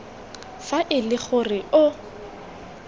fa e le gore o